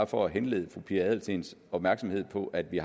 for at henlede fru pia adelsteens opmærksomhed på at vi